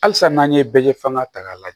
Halisa n'an ye bɛɛ fanga ta k'a lajɛ